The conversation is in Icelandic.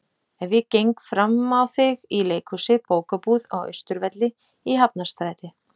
Ef ég geng frammá þig í leikhúsi, bókabúð, á Austurvelli, í Hafnarstræti.